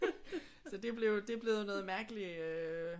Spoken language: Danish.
Så det blev det er blevet noget mærkeligt øh